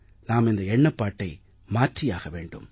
நாம் இந்த எண்ணப்பாட்டை மாற்றியாக வேண்டும்